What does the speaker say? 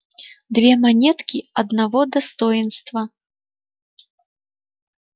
две монетки одного достоинства